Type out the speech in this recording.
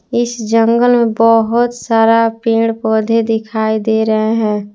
इस जंगल में बहोत सारा पेड़-पौधे दिखाई दे रहे हैं।